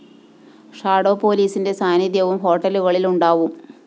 shadow പോലീസിന്റെ സാന്നിധ്യവും ഹോട്ടലുകളില്‍ ഉണ്ടാവും